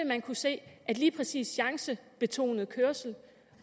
man kunne se at lige præcis chancebetonet kørsel